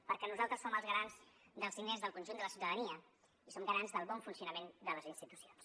perquè nosaltres som els garants dels diners del conjunt de la ciutadania i som garants del bon funcionament de les institucions